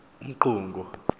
umqungu